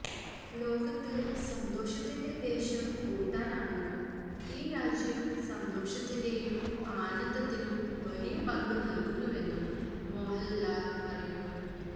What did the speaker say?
ലോകത്ത് സന്തോഷത്തിന്റെ ദേശം ഭൂട്ടാനാണെന്നും ഈ രാജ്യം സന്തോഷത്തിന്റെയും ആനന്ദത്തിനും വലിയ പങ്ക് നല്കുന്നുവെന്നും മോഹല് ലാല് പറയുന്നു